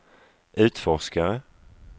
utforskare